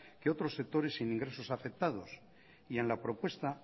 que otros sectores sin ingresos afectados y en la propuesta